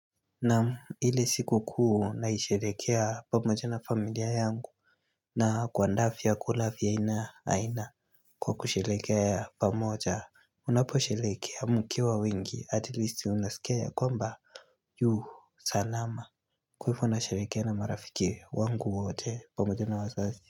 Namu hile siku kuu naisherekea pamoja na familia yangu na kwanda fiyakula fiya aina aina kwa kusherekea pamoja Unapo sherekea mkiwa wengi at least unasikea ya kwamba Yuhu salama Kuhifo nasherekea na marafiki wangu wote pamoja na wazazi.